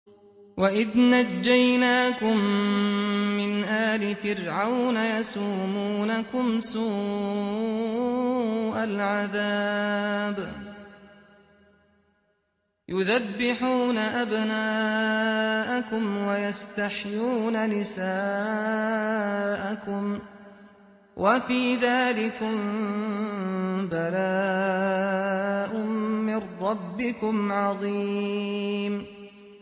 وَإِذْ نَجَّيْنَاكُم مِّنْ آلِ فِرْعَوْنَ يَسُومُونَكُمْ سُوءَ الْعَذَابِ يُذَبِّحُونَ أَبْنَاءَكُمْ وَيَسْتَحْيُونَ نِسَاءَكُمْ ۚ وَفِي ذَٰلِكُم بَلَاءٌ مِّن رَّبِّكُمْ عَظِيمٌ